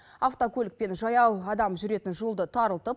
автокөлік пен жаяу адам жүретін жолды тарылтып